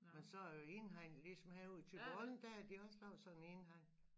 Men så indhegn ligesom herud til volden der har de også lavet sådan en indhegning